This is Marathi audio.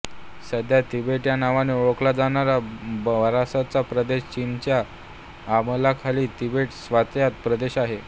सध्या तिबेट ह्या नावाने ओळखला जाणारा बराचसा प्रदेश चीनच्या अंमलाखाली तिबेट स्वायत्त प्रदेश आहे